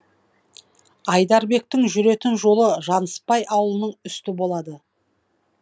айдарбектің жүретін жолы жаныспай ауылының үсті болады